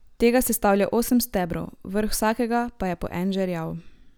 Tega sestavlja osem stebrov, vrh vsakega pa je po en žerjav.